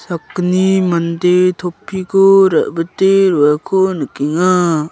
sakgni mande topiko rabite roako nikenga.